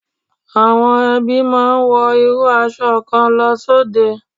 Àwọn ẹbí máa ń wọ irú aṣọ kan lọ sóde.